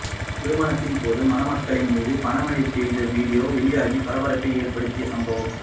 திருமணத்தின் போது மணமக்களின் மீது பணமழை பொழிந்த வீடியோ வெளியாகி பரபரப்பை ஏற்படுத்திய சம்பவம்